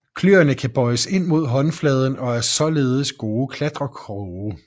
Kløerne kan bøjes ind mod håndfladen og er således gode klatrekroge